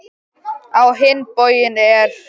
Á hinn bóginn er